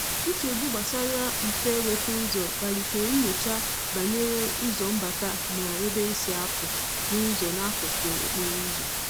Nchegbu gbasara mfe nweta ụzọ kpalitere nnyocha banyere ụzọ mbata ma ebe e si a pụ na ụzọ n'akụkụ okporo ụzọ.